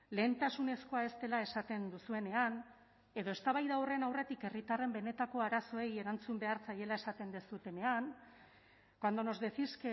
lehentasunezkoa ez dela esaten duzuenean edo eztabaida horren aurretik herritarren benetako arazoei erantzun behar zaiela esaten duzuenean cuando nos decís